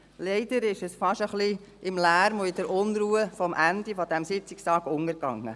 Leider ging es fast ein wenig im Lärm und in der Unruhe vom Ende dieses Sitzungstags unter.